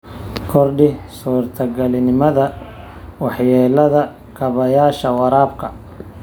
Kordhi suurtagalnimada waxyeellada kaabayaasha waraabka.